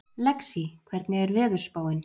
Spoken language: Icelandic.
Lexí, hvernig er veðurspáin?